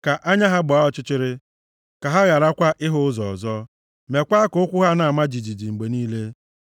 Ka anya ha gbaa ọchịchịrị, ka ha gharakwa ịhụ ụzọ ọzọ, mekwa ka ụkwụ ha na-ama jijiji mgbe niile.